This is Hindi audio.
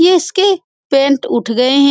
यह इसके पेंट उठ गए हैं ।